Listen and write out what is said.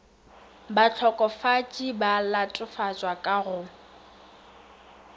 bahlokofatši ba latofatšwa ka go